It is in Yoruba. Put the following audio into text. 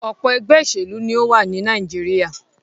Ọ̀pọ̀ ẹgbẹ́ òṣèlú ni ó wà ní Nàìjíríà.